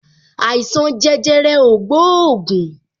Àìsàn jẹjẹrẹ o gbóògùn